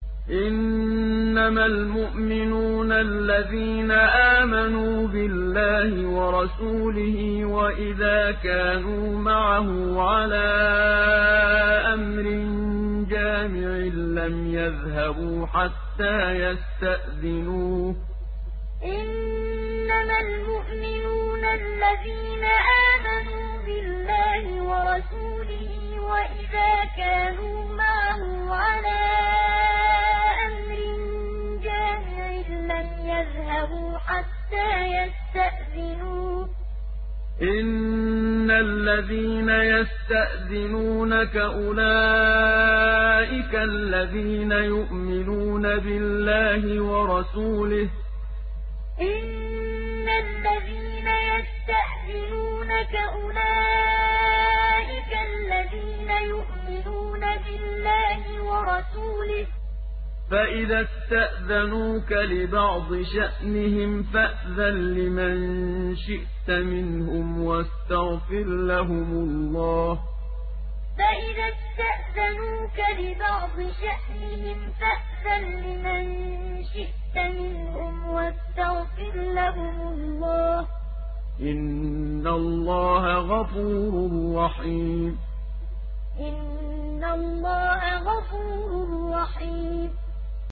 إِنَّمَا الْمُؤْمِنُونَ الَّذِينَ آمَنُوا بِاللَّهِ وَرَسُولِهِ وَإِذَا كَانُوا مَعَهُ عَلَىٰ أَمْرٍ جَامِعٍ لَّمْ يَذْهَبُوا حَتَّىٰ يَسْتَأْذِنُوهُ ۚ إِنَّ الَّذِينَ يَسْتَأْذِنُونَكَ أُولَٰئِكَ الَّذِينَ يُؤْمِنُونَ بِاللَّهِ وَرَسُولِهِ ۚ فَإِذَا اسْتَأْذَنُوكَ لِبَعْضِ شَأْنِهِمْ فَأْذَن لِّمَن شِئْتَ مِنْهُمْ وَاسْتَغْفِرْ لَهُمُ اللَّهَ ۚ إِنَّ اللَّهَ غَفُورٌ رَّحِيمٌ إِنَّمَا الْمُؤْمِنُونَ الَّذِينَ آمَنُوا بِاللَّهِ وَرَسُولِهِ وَإِذَا كَانُوا مَعَهُ عَلَىٰ أَمْرٍ جَامِعٍ لَّمْ يَذْهَبُوا حَتَّىٰ يَسْتَأْذِنُوهُ ۚ إِنَّ الَّذِينَ يَسْتَأْذِنُونَكَ أُولَٰئِكَ الَّذِينَ يُؤْمِنُونَ بِاللَّهِ وَرَسُولِهِ ۚ فَإِذَا اسْتَأْذَنُوكَ لِبَعْضِ شَأْنِهِمْ فَأْذَن لِّمَن شِئْتَ مِنْهُمْ وَاسْتَغْفِرْ لَهُمُ اللَّهَ ۚ إِنَّ اللَّهَ غَفُورٌ رَّحِيمٌ